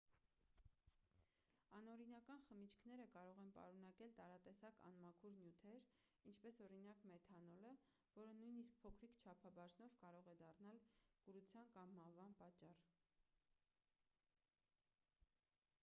անօրինական խմիչքները կարող են պարունակել տարատեսակ անմաքուր նյութեր ինչպես օրինակ մեթանոլը որը նույնիսկ փոքրիկ չափաբաժնով կարող է դառնալ կուրության կամ մահվան պատճառ